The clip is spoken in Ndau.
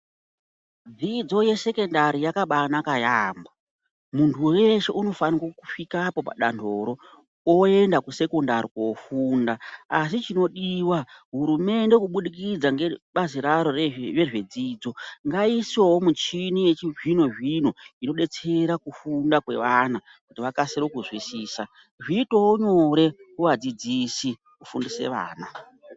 Dzidzo yesekundari yakabanaka yaambo. Muntu veshe unofanika kusvikapo padanhoro, oenda kusekondari kofunda. Asi chinodiva hurumende kubudikidza ngebazi raro rezvedzidzo ngaiisevo michini yechizvino-zvino inobetsera kufunda kwevana. Kuti vakasire kuzwisisa zviitevo nyore kuvadzidzisi kufundisa vana.